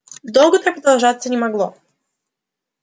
долго так продолжаться не могло